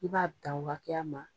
I b'a dan o hakɛya ma